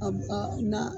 A ba na